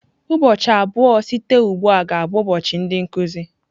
Ụbọchị abụọ site ugbu a ga-abụ ụbọchị ndị nkuzi.